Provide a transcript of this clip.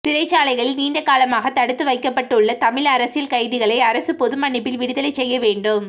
சிறைச்சாலைகளில் நீண்டகாலமாகத் தடுத்துவைக்கப்பட்டுள்ள தமிழ் அரசியல் கைதிகளை அரசு பொதுமன்னிப்பில் விடுதலைசெய்ய வேண்டும்